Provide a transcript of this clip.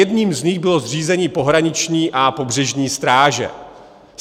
Jedním z nich bylo zřízení pohraniční a pobřežní stráže.